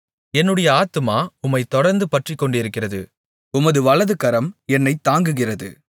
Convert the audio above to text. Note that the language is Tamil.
என்னுடைய ஆத்துமா உம்மைத் தொடர்ந்து பற்றிக்கொண்டிருக்கிறது உமது வலதுகரம் என்னைத் தாங்குகிறது